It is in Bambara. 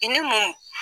I ni mun